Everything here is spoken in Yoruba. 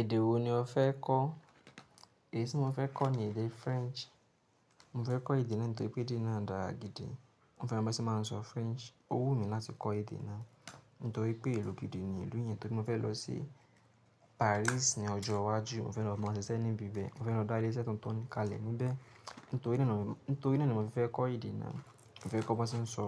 Èdè wo ni o fẹ́ kọ́? Èyí tí mo fẹ́ kọ́ ni èdè French. Mo fẹ́ kọ́ èdè náà nítorí pé èdè náà dára gidi. Mo fẹ́ mo bá ṣe máa sọ French. Ó wù mí láti kọ́ èdè náà nítorí pé ilu gi di ni ìlú yẹn, torí mo fẹ́ lọ sí Paris ní ọjọ́ iwájú. Mo fẹ́ lọ máa ṣiṣẹ́ níbi bẹ. Mo fẹ́ lọ dá iléṣẹ́ tuntun kalẹ̀ níbẹ̀. Nítori naá ni, nítorí naá ni mo fi fẹ́ kọ́ èdè náà. Mo fẹ́ kọ́ bon ṣe ń sọ